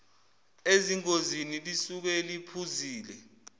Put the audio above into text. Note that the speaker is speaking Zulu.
ezingozini lisuke liphuzile